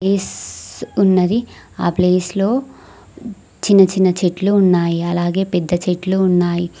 Is ఉన్నది ఆ ప్లేస్లో చిన్న చిన్న చెట్లు ఉన్నాయి అలాగే పెద్ద చెట్లు ఉన్నాయ్.